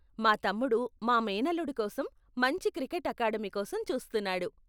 మా తమ్ముడు, మా మేనల్లుడి కోసం మంచి క్రికెట్ అకాడమీ కోసం చూస్తున్నాడు.